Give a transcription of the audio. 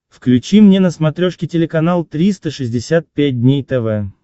включи мне на смотрешке телеканал триста шестьдесят пять дней тв